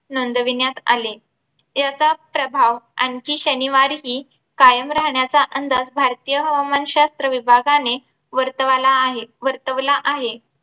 नोंदविण्यात आले. याचा प्रभाव आणखी शनिवारी हि कायम राहण्याचा अंदाज भारतीय हवामान शास्त्र विभागाने वार्तवाला वर्तवला आहे